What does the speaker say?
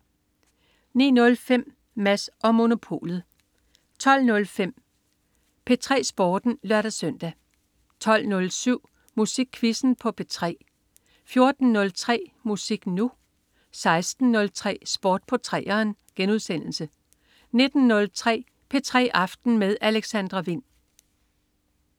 09.05 Mads & Monopolet 12.05 P3 Sporten (lør-søn) 12.07 Musikquizzen på P3 14.03 Musik Nu! 16.03 Sport på 3'eren* 19.03 P3 aften med Alexandra Wind